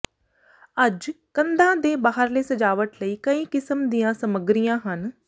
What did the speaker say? ਅੱਜ ਕੰਧਾਂ ਦੇ ਬਾਹਰਲੇ ਸਜਾਵਟ ਲਈ ਕਈ ਕਿਸਮ ਦੀਆਂ ਸਮੱਗਰੀਆਂ ਹਨ